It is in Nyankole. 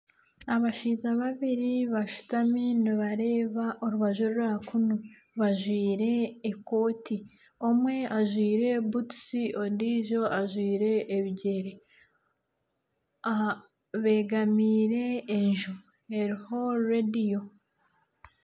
Abashaija babiri bashutami nibareeba orubaju orwa kunu bajwaire ekooti. Omwe ajwaire butusi ondiijo ajwaire ebigyere. Aha begamiire enju eriho reediyo.